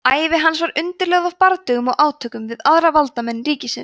ævi hans var undirlögð af bardögum og átökum við aðra valdamenn ríkisins